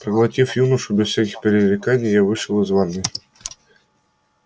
проглотив юношу без всяких пререканий я вышел из ванной